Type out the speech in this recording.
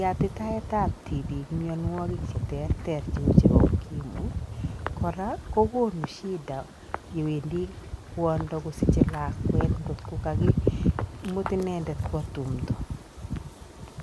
yatitaetab tibik mianwogik cheterter cheu chebo ''[ukimwi'']. Kora kogonu shida yewendi kwondo kosiche lakwet ngotko kagimut inendet kwo tumdo.